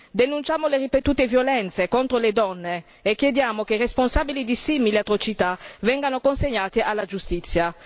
Denunciamo le ripetute violenze contro le donne e chiediamo che i responsabili di simili atrocità vengano consegnati alla giustizia.